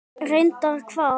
Reyndar hvað?